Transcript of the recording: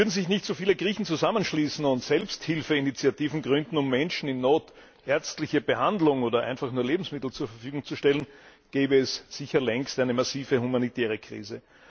Würden sich nicht so viele Griechen zusammenschließen und Selbsthilfeinitiativen gründen, um Menschen in Not ärztliche Behandlung oder einfach nur Lebensmittel zur Verfügung zu stellen, gäbe es sicher längst eine massive humanitäre Krise.